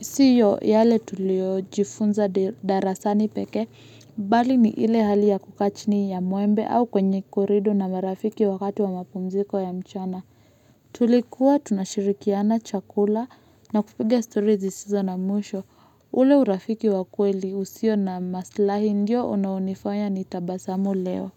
siyo yale tulio jifunza darasani peke bali ni ile hali ya kukaa chini ya mwembe au kwenye korido na marafiki wakati wa mapumziko ya mchana Tulikuwa tunashirikiana chakula na kupiga stori zisizo na mwsho ule urafiki wa kweli usio na maslahi ndiyo una unifanya ni tabasamu leo.